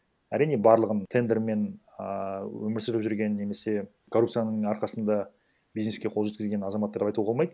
әрине барлығын тендермен ааа өмір сүріп жүрген немесе коррупцияның арқасында бизнеске қол жеткізген азаматтар деп айтуға болмайды